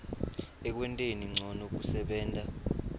ekwenteni ncono kusebenta